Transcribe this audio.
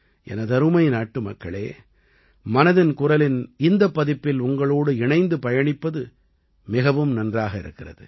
எனதருமை நாட்டுமக்களே மனதின் குரலின் இந்தப் பதிப்பில் உங்களோடு இணைந்து பயணிப்பது மிகவும் நன்றாக இருக்கிறது